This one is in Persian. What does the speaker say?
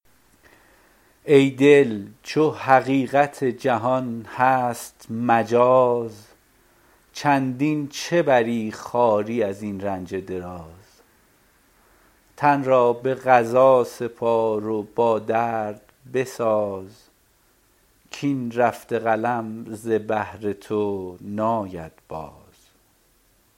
ای دل چو حقیقت جهان هست مجاز چندین چه بری خواری از این رنج دراز تن را به قضا سپار و با درد بساز کاین رفته قلم ز بهر تو ناید باز